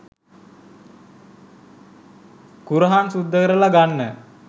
කුරහන් සුද්ද කරල ගන්න